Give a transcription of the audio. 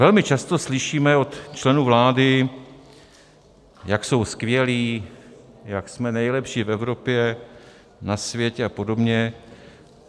Velmi často slyšíme od členů vlády, jak jsou skvělí, jak jsme nejlepší v Evropě, na světě a podobně.